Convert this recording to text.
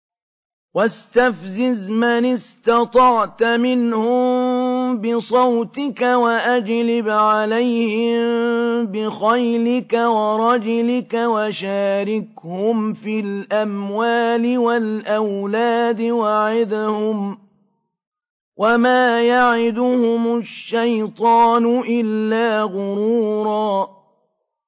وَاسْتَفْزِزْ مَنِ اسْتَطَعْتَ مِنْهُم بِصَوْتِكَ وَأَجْلِبْ عَلَيْهِم بِخَيْلِكَ وَرَجِلِكَ وَشَارِكْهُمْ فِي الْأَمْوَالِ وَالْأَوْلَادِ وَعِدْهُمْ ۚ وَمَا يَعِدُهُمُ الشَّيْطَانُ إِلَّا غُرُورًا